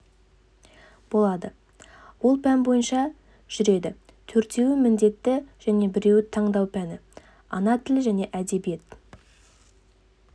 болады ол пән бойынша жүреді төртеуі міндетті және біреуі таңдау пәні ана тілі және әдебиет